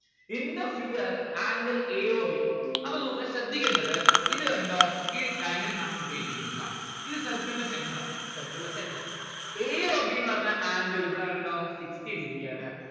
in the figure angle a o b അപ്പോ നോക്ക് ശ്രദ്ധിക്കേണ്ടത് ഇത് കണ്ടോ ഈ diagram കാണുമ്പോ പേടിക്കരുത് ട്ടോ ഇത് circle ന്റെ centre ആണ്. circle ന്റെ centre. a o b ന്ന്‌ പറഞ്ഞ angle ഇവിടെ ഉണ്ടോ sixty degree ആണ്.